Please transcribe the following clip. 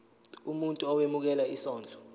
umuntu owemukela isondlo